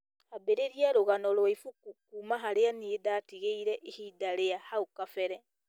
ambĩrĩria rũgano rwa ibuku kuuma harĩa niĩ ndatigĩire ihinda rĩa hau kabere